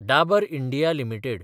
Dabur India limited